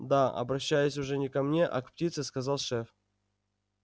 да обращаясь уже не ко мне а к птице сказал шеф